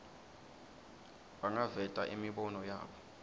bangaveta imibono yabo